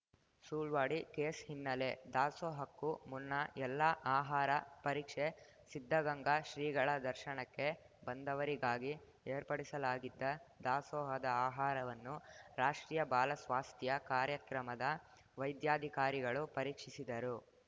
Sulwadi case ಹಿನ್ನೆಲೆ ದಾಸೋಹಕ್ಕೂ ಮುನ್ನ ಎಲ್ಲ ಆಹಾರ ಪರೀಕ್ಷೆ ಸಿದ್ಧಗಂಗಾ ಶ್ರೀಗಳ ದರ್ಶನಕ್ಕೆ ಬಂದವರಿಗಾಗಿ ಏರ್ಪಡಿಸಲಾಗಿದ್ದ ದಾಸೋಹದ ಆಹಾರವನ್ನು ರಾಷ್ಟ್ರೀಯ ಬಾಲ ಸ್ವಾಸ್ಥ್ಯ ಕಾರ್ಯಕ್ರಮದ ವೈದ್ಯಾಧಿಕಾರಿಗಳು ಪರೀಕ್ಷಿಸಿದರು